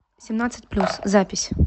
семнадцать плюс запись